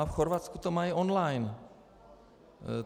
A v Chorvatsku to mají online.